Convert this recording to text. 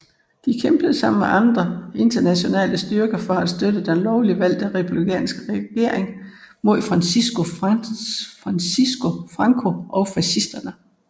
De kæmpede sammen med andre internationale styrker for at støtte den lovligt valgte republikanske regering mod Francisco Franco og fascisterne